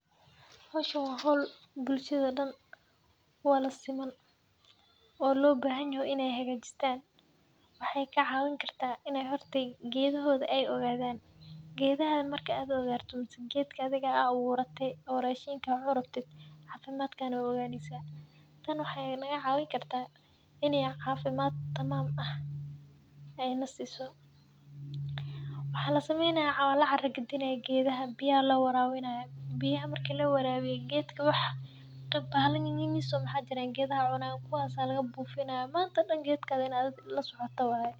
Howshan waa hol bulshaada dan uwadha siman oo lo bahan yoho in ee haga jistan waxee ka cawin kartaa horta in ee gedha hoda ee ogadhan, gedhaha marki aad ogato mase geedka athiga aa aburate rashinka kacuni rabti cafimaadka aya oganeysa tani waxee naga cawineysa in cafimaad tamam ah ee nasiso, waxaa lasameynaya waa la cara gadinaya geedaha biya aya lawarawinaya biya marki lawarawiyo geedka waxii bahala yaris oo maxaa jiran geedaha cunan kuwas aa laga bufinaya manta dan waa in aa geedkaga adhiga lasocota manta dan waye.